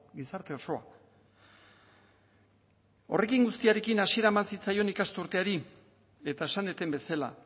gizarte osoa horrekin guztiarekin hasiera eman zitzaion ikasturteari eta esan dudan bezala